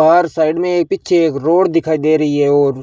बाहर साइड में पीछे एक रोड दिखाई दे रही है और --